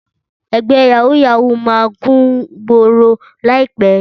Ẹgbẹ́ yàwúù-yàwúù máa kúngboro láìpẹ́.